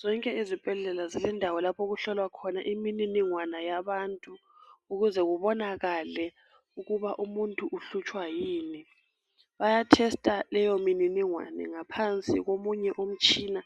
Zonke izibhedlela zilendawo lapho okuhlolwa khona imililingwana yabantu ukuze kubonakale ukuba umuntu uhlutshwa yini bayathesta leyo mililingwane ngaphansi kumunye umtshina